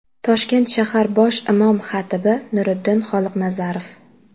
Toshkent shahar bosh imom-xatibi Nuriddin Xoliqnazarov.